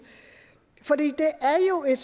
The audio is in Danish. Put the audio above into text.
og jeg